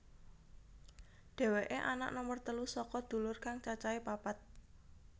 Dhéwéké anak nomer telu saka dulur kang cacahé papat